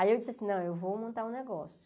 Aí eu disse assim, não, eu vou montar um negócio.